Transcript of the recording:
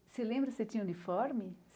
Você lembra se tinha uniforme?